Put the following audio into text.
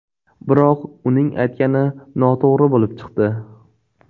Biroq uning aytgani noto‘g‘ri bo‘lib chiqdi.